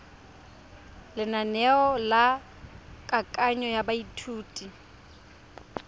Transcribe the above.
lenaneo la kananyo ya baithuti